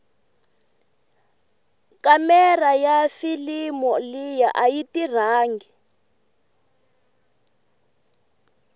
kamera yafilimu liya ayiti rhangi